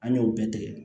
An y'o bɛɛ tigɛ